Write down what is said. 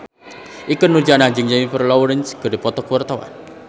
Ikke Nurjanah jeung Jennifer Lawrence keur dipoto ku wartawan